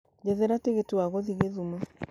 njethera tigiti wa gũthiĩ githumo